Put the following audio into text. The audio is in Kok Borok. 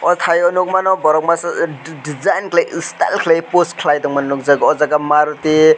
aw tai o nugmano borok masa di di di design kalai style kalai post kalai tongma nugjago aw jaaga maruti.